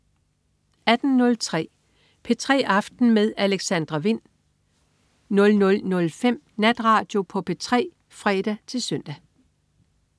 18.03 P3 aften med Alexandra Wind 00.05 Natradio på P3 (fre-søn)